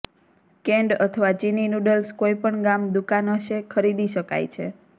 canned અથવા ચિની noodles કોઈપણ ગામ દુકાન હશે ખરીદી શકાય છે